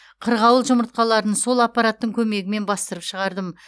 қырғауыл жұмыртқаларын сол аппараттың көмегімен бастырып шығардым